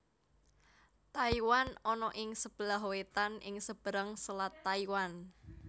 Taiwan ana ing sebelah wetan ing seberang Selat Taiwan